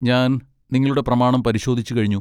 ഞാൻ നിങ്ങളുടെ പ്രമാണം പരിശോധിച്ചുകഴിഞ്ഞു.